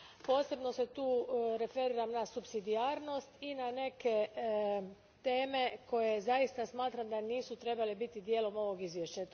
Posebno se tu referiram na supsidijarnost i na neke teme za koje zaista smatram da nisu trebale biti dijelom ovog izvješća.